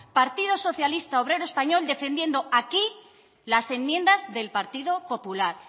partido socialista obrero español defendiendo aquí las enmiendas del partido popular